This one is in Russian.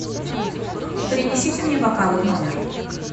принесите мне бокалы в номер